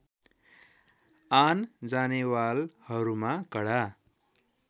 आन जानेवालहरूमा कडा